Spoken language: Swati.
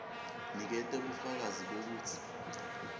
niketa bufakazi bekutsi